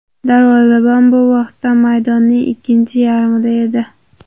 Darvozabon bu vaqtda maydonning ikkinchi yarmida edi.